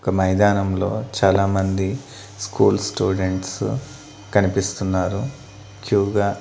ఒక మైదానంలో చాలామంది స్కూల్ స్టూడెంట్స్ కనిపిస్తున్నారు క్యూగా .